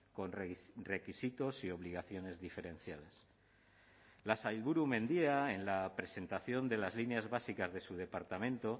con requisitos y obligaciones diferenciadas la sailburu mendia en la presentación de las líneas básicas de su departamento